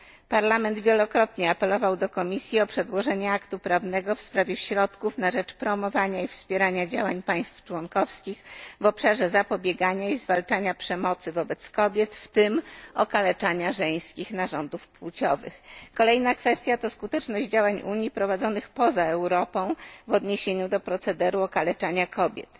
Parlament wielokrotnie apelował do Komisji o przedłożenie aktu prawnego w sprawie środków na rzecz promowania i wspierania działań państw członkowskich w obszarze zapobiegania i zwalczania przemocy wobec kobiet, w tym okaleczania żeńskich narządów płciowych. Kolejna kwestia to skuteczność działań Unii prowadzonych poza Europą w odniesieniu do procederu okaleczania kobiet.